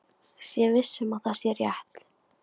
Sé viss um að það sé rétt.